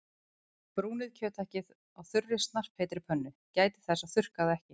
Brúnið kjöthakkið á þurri snarpheitri pönnu- gætið þess að þurrka það ekki.